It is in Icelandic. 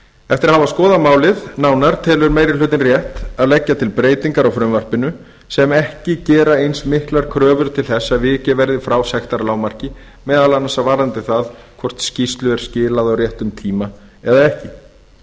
eftir að hafa skoðað málið nánar telur meiri hlutinn rétt að leggja til breytingar á frumvarpinu sem ekki gera eins miklar kröfur til þess að vikið verði frá sektarlágmarki meðal annars varðandi það hvort skýrslu er skilað á réttum tíma eða ekki